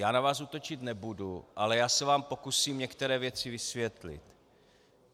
Já na vás útočit nebudu, ale já se vám pokusím některé věci vysvětlit.